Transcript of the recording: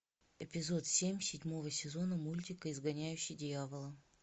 эпизод семь седьмого сезона мультика изгоняющий дьявола